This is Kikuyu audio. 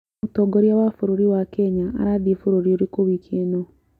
Mũtongoria wa bũrũri wakenya arathiĩ bũrũri ũrĩkũ wiki ĩno?